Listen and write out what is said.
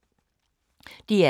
DR2